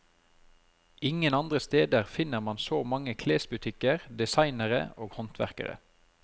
Ingen andre steder finner man så mange klesbutikker, designere og håndverkere.